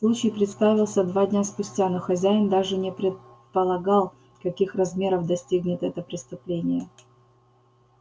случай представился два дня спустя но хозяин даже не предполагал каких размеров достигнет это преступление